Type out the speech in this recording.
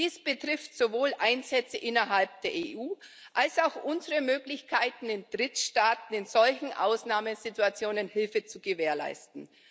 Dies betrifft sowohl Einsätze innerhalb der EU als auch unsere Möglichkeiten, in Drittstaaten in solchen Ausnahmesituationen Hilfe zu gewährleisten.